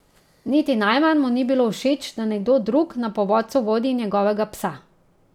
Niti najmanj mu ni bilo všeč, da nekdo drug na povodcu vodi njegovega psa.